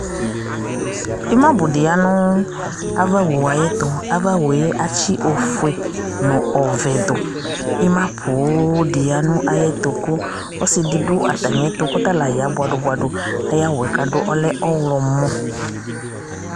ima bò di ya no ava owu yɛ ayi ɛto ava owu yɛ atsi ofue no ɔvɛ du ima poŋ di ya no ayi ɛto kò ɔsi di do atami ɛto k'ɔta la ya boa do boa do ayi awu yɛ k'adu ɔlɛ ɔwlɔmɔ